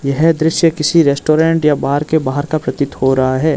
है दृश्य किसी रेस्टोरेंट या बार के बाहार का प्रतीत हो रहा है।